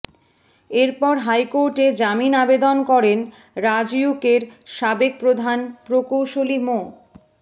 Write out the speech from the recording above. এরপর হাইকোর্টে জামিন আবেদন করেন রাজউকের সাবেক প্রধান প্রকৌশলী মো